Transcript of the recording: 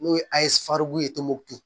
N'o ye ye tumutu